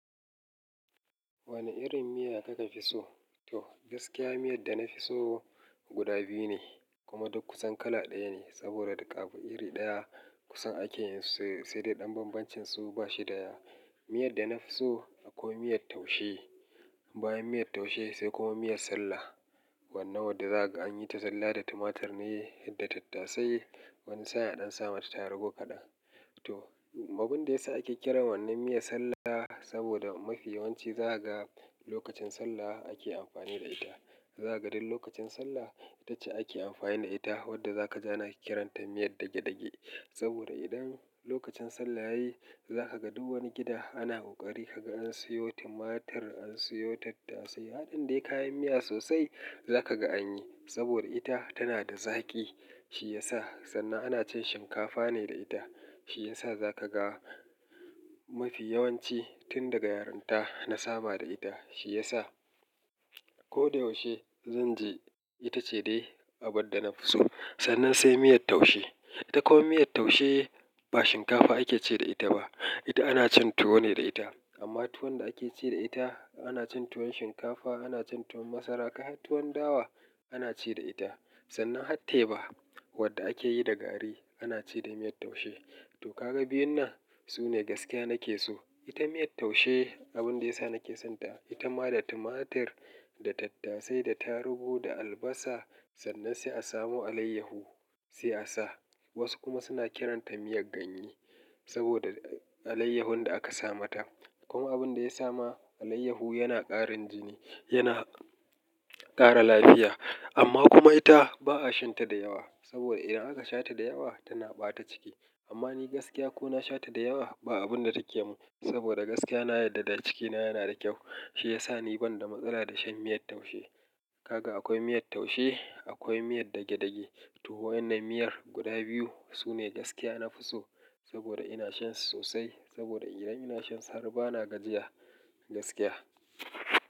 Wane irin miya kaka fi so? To, gaskiya miyan da na fi so guda biyu ne, kuma duk kusan kala ɗaya ne, saboda daga abu iri ɗaya kusan ake yin su, sai dai ɗan bambancin su ba shi da yawa. Miyan da na fi so akwai miyar taushe, bayan miyar taushe, sai kuma miyar sallah, wannan wadda za kaga an yi ta zallah da tumatur ne da tattasai, wani sa'in a ɗan sa mata tarugu kaɗan, to, abun da ya sa ake kiran wannan miyar sallah, saboda mafi yawanci zakaga, lokacin sallah ake amfani da ita. Zakaga duk lokacin sallah, ita ce ake amfani da ita, wadda zaka ji ana kiranta miyar dage-dage. Saboda idan lokacin sallah yayi, za ka ga duk wani gida ana ƙoƙari ka ga an siyo tumatur, an siyo tattasai. Haɗin dai kayan miya sosai, zaka ga an yi, saboda ita tana da zaƙi, shi ya sa, sannan ana cin shinkafa ne da ita. Shi ya sa za ka ga mafi yawanci, tun daga yarinta na saba da ita. Shi ya sa, ko da yaushe zan je, ita ce dai abin da na fi so. Sannan sai miyar taushe. Ita kuma miyar taushe, ba shinkafa ake ci da ita ba, Ita ana cin tuwo ne da ita, amma tuwon da ake ci da ita, ana cin tuwon shinkafa, ana cin tuwon masara, kai har tuwon dawa ana ci da ita. Sannan hatteba, wadda akeyi da gari, ana ci da miyar taushe. To ka ga biyun nan, su ne gaskiya nake so. Ita miyar taushe, abun da ya sa nake sonta ita ma da tumatur, da tattasai, da tarugu, da albasa, sannan sai a samo alayyahu, sai asa. Wasu kuma suna kiranta miyar ganye, saboda alayyahun da aka sa mata. Kuma abun da ya sa ma, alayyahu yana ƙarin jini, yana ƙara lafiya. Amma kuma ita, ba'a shan ta da yawa, saboda idan aka sha ta da yawa, tana ɓata ciki. Amma ni gaskiya ko na sha ta da yawa, ba abun da take mun, saboda gaskiya na yadda da cikina yana da kyau. Shi ya sa ni ban da matsala da shan miyar taushe. Kaga akwai miyar taushe, akwai miyar dage-dage. To waƴannan miyar guda biyu, su ne gaskiya na fi so, saboda ina shan su sosai, saboda idan ina shan su har ba na gajiya, gaskiya.